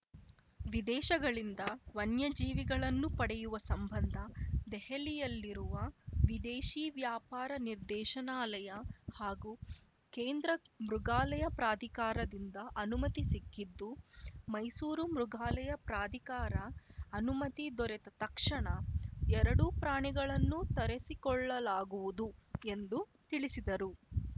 ವಿದೇಶಗಳಿಂದ ವನ್ಯಜೀವಿಗಳನ್ನು ಪಡೆಯುವ ಸಂಬಂಧ ದೆಹಲಿಯಲ್ಲಿರುವ ವಿದೇಶಿ ವ್ಯಾಪಾರ ನಿರ್ದೇಶನಾಲಯ ಹಾಗೂ ಕೇಂದ್ರ ಮೃಗಾಲಯ ಪ್ರಾಧಿಕಾರದಿಂದ ಅನುಮತಿ ಸಿಕ್ಕಿದ್ದು ಮೈಸೂರು ಮೃಗಾಲಯ ಪ್ರಾಧಿಕಾರ ಅನುಮತಿ ದೊರೆತ ತಕ್ಷಣ ಎರಡೂ ಪ್ರಾಣಿಗಳನ್ನು ತರಿಸಿಕೊಳ್ಳಲಾಗುವುದು ಎಂದು ತಿಳಿಸಿದರು